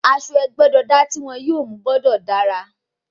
Aṣọ ẹgbẹ́-jọdá tí wọ́n yóò mú gbọ́dọ̀ dára.